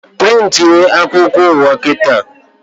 Prịntị a akwụkwọ ụwa kịta!